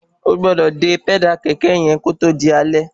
Ogbọ́dọ̀ dè pẹ́dà kẹ̀kẹ́ yẹn kí ótó di alẹ́